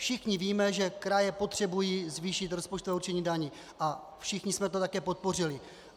Všichni víme, že kraje potřebují zvýšit rozpočtové určení daní, a všichni jsme to také podpořili.